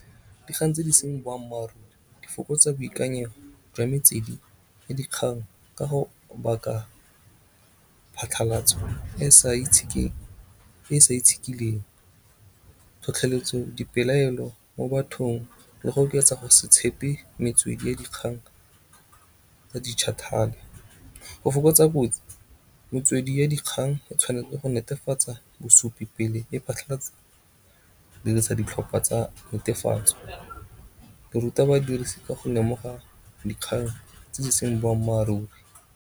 Dikgang tse di seng boammaaruri di fokotsa boikanyego jwa metswedi ya dikgang ka go baka phatlhalatso e sa itshekileng. Tlhotlheletso, dipelaelo mo bathong le go oketsa go se tshepe metswedi ya dikgang tsa dijithale. Go fokotsa kotsi metswedi ya dikgang e tshwanetse go netefatsa bosupi pele e phatlhalatsa dirisa ditlhopha tsa netefatso. Ruta badirisi ka go lemoga dikgang tse di seng boammaaruri.